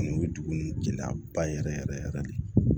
Kɔni o ye dugu ninnu gɛlɛyaba yɛrɛ yɛrɛ de ye